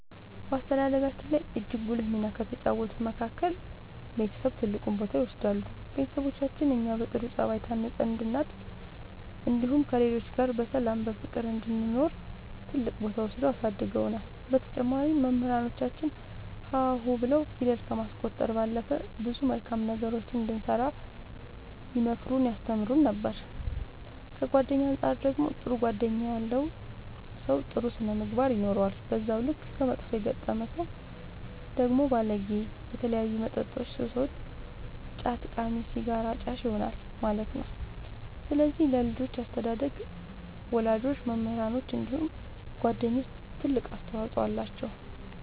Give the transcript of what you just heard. በአስተዳደጋችን ላይ እጅግ ጉልህ ሚና ከተጫወቱት መካከል ቤተሰብ ትልቁን ቦታ ይወስዳሉ ቤተሰቦቻችን እኛ በጥሩ ጸባይ ታንጸን እንድናድግ እንዲሁም ከሌሎች ጋር በሰላም በፍቅር እንድንኖር ትልቅ ቦታ ወስደው አሳድገውናል በተጨማሪም መምህራኖቻችን ሀ ሁ ብለው ፊደል ከማስቆጠር ባለፈ ብዙ መልካም ነገሮችን እንድንሰራ ይመክሩን ያስተምሩን ነበር ከጓደኛ አንፃር ደግሞ ጥሩ ጓደኛ ያለው ሰው ጥሩ ስነ ምግባር ይኖረዋል በዛው ልክ ከመጥፎ የገጠመ ሰው ደግሞ ባለጌ በተለያዩ መጠጦች ሱሰኛ ጫት ቃሚ ሲጋራ አጫሽ ይሆናል ማለት ነው ስለዚህ ለልጆች አስተዳደግ ወላጆች መምህራኖች እንዲሁም ጓደኞች ትልቅ አስተዋፅኦ አላቸው።